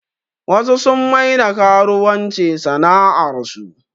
Wasu sun maida karuwanci sana'ar su